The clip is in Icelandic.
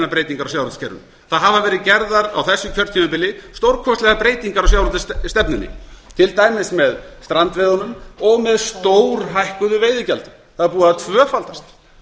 breytingar á sjávarútvegskerfinu það hafa verið gerðar á þessu kjörtímabili stórkostlegar breytingar á sjávarútvegsstefnunni til dæmis með strandveiðunum og með stórhækkuðu veiðigjaldi það er búið að tvöfaldast